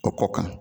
O kɔ kan